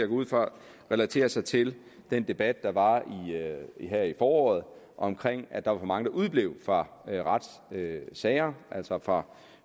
ud fra relaterer sig til den debat der var her i foråret om at der var for mange der udeblev fra retssager altså fra